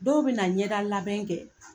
Dɔw be na ɲɛda labɛn kɛ